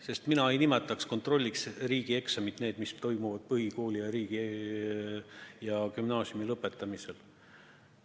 Sest mina ei nimetaks kontrolliks riigieksameid, mis toimuvad põhikooli ja gümnaasiumi lõpetamisel.